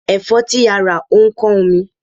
Ẹ̀fọ́ tí a rà ó ń kán omi.